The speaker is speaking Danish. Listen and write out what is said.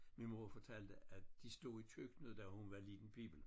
Min mor fortalte at de stod i køkkenet da hun var lille pibel